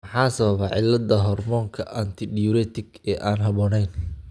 Maxaa sababa cilladda hormoonka antidiuretic ee aan habboonayn?